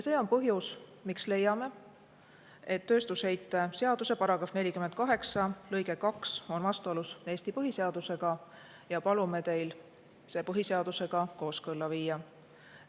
See on põhjus, miks leiame, et tööstusheite seaduse § 48 lõige 2 on vastuolus Eesti põhiseadusega, ja palume teil see põhiseadusega kooskõlla viia.